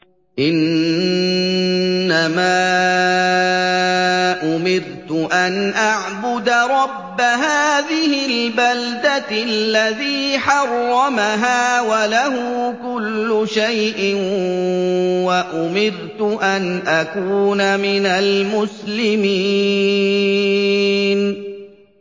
إِنَّمَا أُمِرْتُ أَنْ أَعْبُدَ رَبَّ هَٰذِهِ الْبَلْدَةِ الَّذِي حَرَّمَهَا وَلَهُ كُلُّ شَيْءٍ ۖ وَأُمِرْتُ أَنْ أَكُونَ مِنَ الْمُسْلِمِينَ